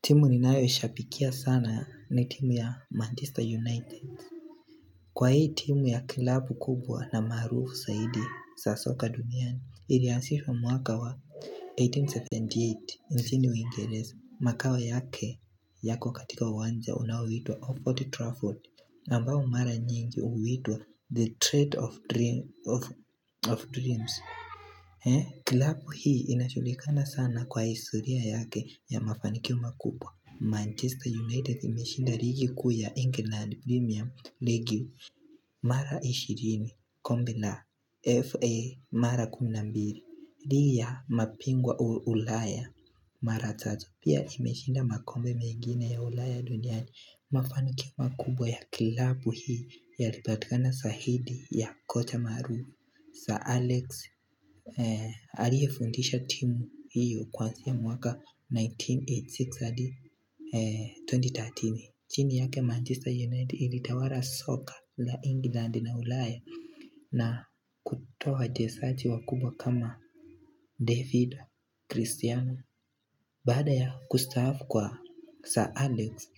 Timu ninayo ishabikia sana ni timu ya Manchester United Kwa hii timu ya kilabu kubwa na maarufu zaidi za soka duniani ilianzishwa mwaka wa 1878 nchini uingereza makao yake yako katika uwanja unaoitwa old trafford na ambao mara nyingi huitwa the trade of dreams kilabu hii inajulikana sana kwa historia yake ya mafanikio makubwa Manchester United imeshinda ligi kuu ya England premium ligi Mara 20 kombe la FA mara kumi na mbili pia mapingwa ulaya Mara tatu pia imeshinda makombe mengine ya ulaya duniani mafanikio makubwa ya kilabu hii yalipatika zaidi ya kocha maru Sir Alex Aliyefundisha timu hiyo kwazia mwaka 1986 adi 2030.Chini yake Manchester United ilitawala soka la England na ulaya na kutoa wachezaji wakubwa kama David, Cristiano Baada ya kustaafu kwa Sir Alex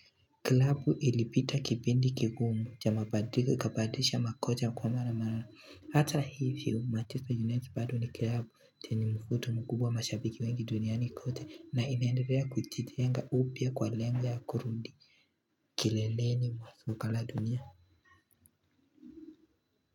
klabu ilipita kipindi kigumu cha mabadiliko ikabadilisha makocha kwa mara mara. Hata hivyo Manchester United bado ni klabu chenye mvuto mkubwa mashabiki wengi duniani kote na inaendele kujijenga upya kwa lengo ya kurundi. Kileleni mwa soka la dunia.